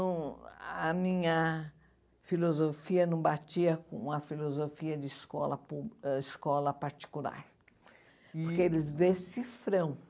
Não a minha filosofia não batia com a filosofia de escola pública ãh escola particular, porque eles decifram.